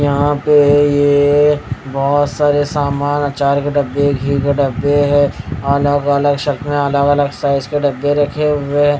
यहां पे ये बहुत सारे सामान अचार के डब्बे घी के डब्बे है अलग-अलग शेल में अलग-अलग साइज के डब्बे रखे हुए हैं.